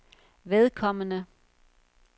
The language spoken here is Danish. vedkommende